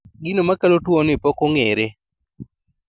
Gino makelo tuo ni pok ong'ere